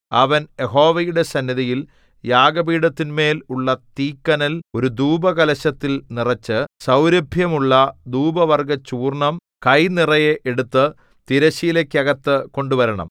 അവൻ യഹോവയുടെ സന്നിധിയിൽ യാഗപീഠത്തിന്മേൽ ഉള്ള തീക്കനൽ ഒരു ധൂപകലശത്തിൽ നിറച്ച് സൗരഭ്യമുള്ള ധൂപവർഗ്ഗചൂർണ്ണം കൈ നിറയെ എടുത്തു തിരശ്ശീലയ്ക്കകത്ത് കൊണ്ടുവരണം